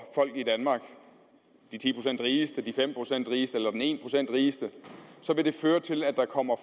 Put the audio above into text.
folk i danmark de ti procent rigeste de fem procent rigeste eller den en procent rigeste så vil det føre til at der kommer